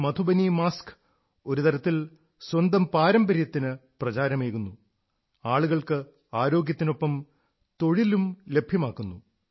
ഈ മധുബനി മാസ്ക് ഒരു തരത്തിൽ സ്വന്തം പാരമ്പര്യത്തിന് പ്രചാരമേകുന്നു ആളുകൾക്ക് ആരോഗ്യത്തിനൊപ്പം തൊഴിലും ലഭ്യമാക്കുന്നു